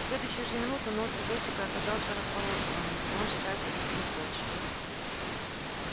в следующую же минуту нос у бэсика оказался располосованным и он шатаясь отступил прочь